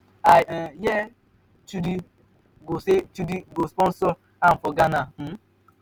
i hear um say chudi go say chudi go sponsor am for ghana um.